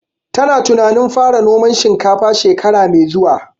Ta na tunanin fara noman shinkafa shekara mai zuwa